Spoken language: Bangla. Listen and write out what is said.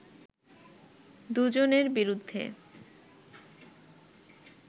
দুজনের বিরুদ্ধে